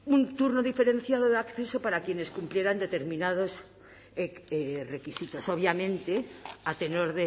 un turno diferenciado de acceso para quienes cumplieran determinados requisitos obviamente a tenor